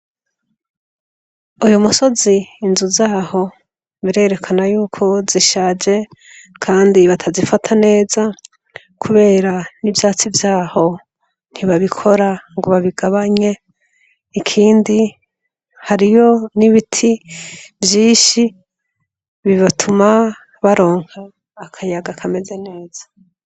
Uyu musozi inzu zaho birerekana yuko zishaje, kandi batazifata neza, kubera n'ivyatsi vyaho ntibabikora ngo babigabanye ikindi hariyo n'ibiti vyinshi bibatuma baronka akayaga akameze neza.